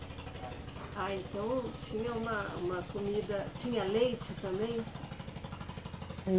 Ah, então tinha uma, uma comida, tinha leite também?